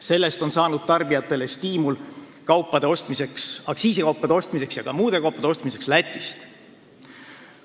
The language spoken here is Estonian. Sellest on saanud tarbijatele stiimul aktsiisikaupade ja ka muude kaupade ostmiseks Lätist.